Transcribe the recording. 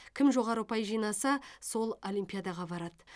кім жоғары ұпай жинаса сол олимпиадаға барады